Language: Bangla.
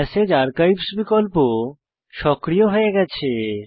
মেসেজ আর্কাইভস বিকল্প সক্রিয় হয়ে গেছে